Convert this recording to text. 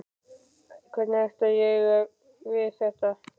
Hvernig ætla ég að eiga við þetta?